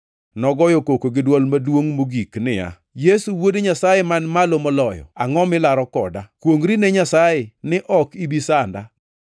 Nogoyo koko gi dwol maduongʼ mogik niya, “Yesu Wuod Nyasaye Man Malo Moloyo, angʼo milaro koda? Kuongʼri ne Nyasaye ni ok ibi sanda!”